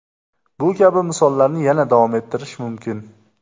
Bu kabi misollarni yana davom ettirish mumkin.